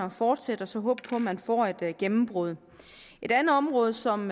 at fortsætte og så håbe på at man får et gennembrud et andet område som